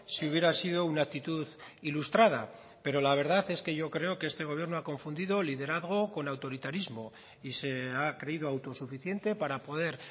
si hubiera sido una actitud ilustrada pero la verdad es que yo creo que este gobierno ha confundido liderazgo con autoritarismo y se ha creído autosuficiente para poder